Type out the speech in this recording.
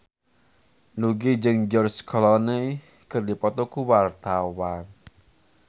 Nugie jeung George Clooney keur dipoto ku wartawan